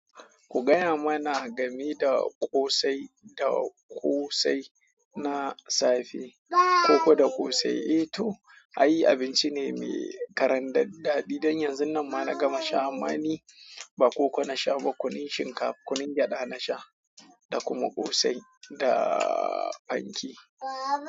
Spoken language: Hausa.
Ku gaya mana game da ƙosai da ƙosai na safe. Koko da ƙosai, eh to, i abinci ne mai karandar daɗi. Don yanzun nan ma na gama sha ama ni ba koko na sha ba kunun shinkafa, kunun gyada na sha da kuma ƙosai da panke.